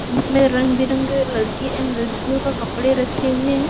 इसमें रंग बिरंगे लड़के एंड लड़कियों कपड़े रखे हुए है।